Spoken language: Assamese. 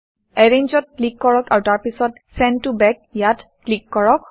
এৰেঞ্জ ত ক্লিক কৰক আৰু তাৰ পিছত চেণ্ড ত বেক ইয়াত ক্লিক কৰক